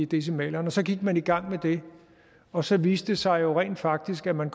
decimalerne så gik man i gang med det og så viste det sig jo rent faktisk at man